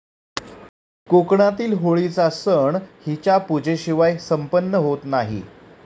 कोकणातील होळीचा सण हिच्या पूजेशिवाय संपन्न होत नाही.